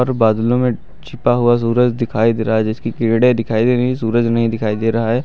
और बादलों में छिपा हुआ सूरज दिखाई दे रहा है जिसकी किरणें दिखाई दे रही हैं सूरज नहीं दिखाई दे रहा है।